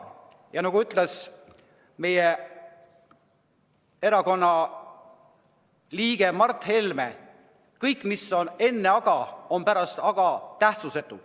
Ja nagu ütles meie erakonna liige Mart Helme: kõik, mis on enne "aga", on pärast "aga" tähtsusetu.